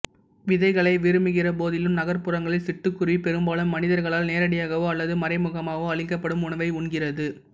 விதைகளை விரும்புகிற போதிலும் நகர்ப்புறங்களில் சிட்டுக்குருவி பெரும்பாலும் மனிதர்களால் நேரடியாகவோ அல்லது மறைமுகமாகவோ அளிக்கப்படும் உணவை உண்கிறது